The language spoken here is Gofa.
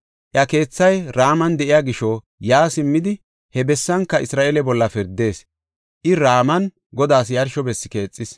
Iya keethay Raman de7iya gisho yaa simmidi he bessanka Isra7eele bolla pirdees. I Raman Godaas yarsho bessi keexis.